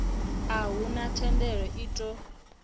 a huna thendelo i ṱo